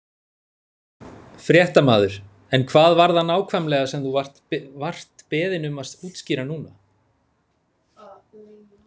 Fréttamaður: En hvað var það nákvæmlega sem þú vart beðinn um að útskýra núna?